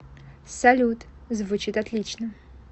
салют звучит отлично